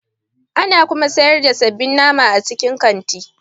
Ana kuma sayar da sabbin nama a cikin kanti.